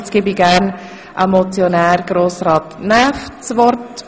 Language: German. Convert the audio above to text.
Ich gebe dem Motionär Grossrat Näf das Wort.